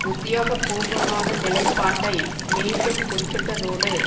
உத்தியோக பூர்வமான நிலைப்பாட்டை மீண்டும் குறிப்பிட்டதோடு